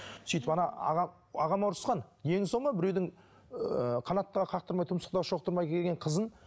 сөйтіп аға ағама ұрысқан денің сау ма біреудің ыыы қанаттыға қақтырмай тұмсықтыға шоқтырмай келген қызын